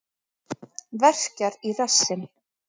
Verkjar í rassinn.